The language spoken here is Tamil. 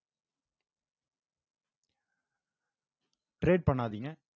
trade பண்ணாதீங்க